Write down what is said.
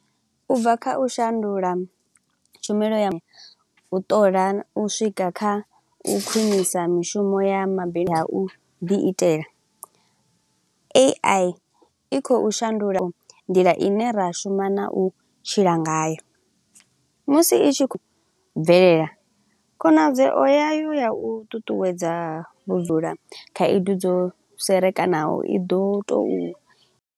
Ubva kha u shandula tshumelo ya vhuṱola, u swika kha u khwinisa mishumo ya mabindu a u ḓi itela. AI i khou shandula nḓila ine ra shuma na u tshila ngayo musi i tshi khou bvelela. Khonadzeo yayo ya u ṱuṱuwedza vhubvula, khaedu dzo serekanaho, i ḓo to u.